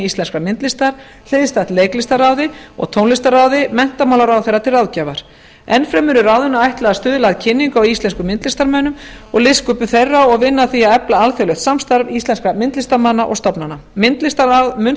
íslenskrar myndlistar hliðstætt leiklistarráði og tónlistarráði menntamálaráðherra til ráðgjafar enn fremur er ráðinu ætlað að stuðla að kynningu á íslenskum myndlistarmönnum og listsköpun þeirra og vinna að því að efla alþjóðlegt samstarf íslenskra myndlistarmanna og stofnana myndlistarráð mun